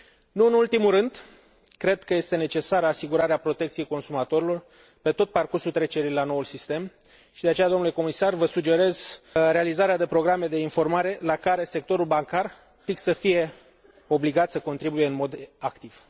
Nu în ultimul rând, cred că este necesară asigurarea protecției consumatorilor pe tot parcursul trecerii la noul sistem și, de aceea, domnule Comisar, vă sugerez realizarea de programe de informare la care sectorul bancar să fie obligat practic să contribuie în mod activ.